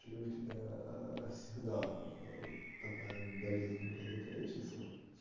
или у тебя аа всегда аа такая болезнь блять это лечится